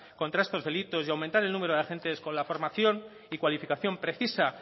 contra estos delitos y aumentar el número de agentes con la formación y cualificación precisa